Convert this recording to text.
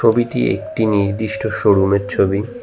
ছবিটি একটি নির্দিষ্ট শোরুমের ছবি।